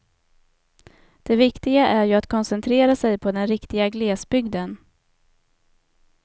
Det viktiga är ju att koncentrera sig på den riktiga glesbygden.